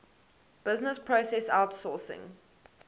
business process outsourcing